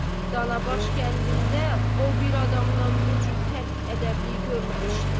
Canabaş kəndində o bir adamdan bu cür tərk ədəblik görməmişdi.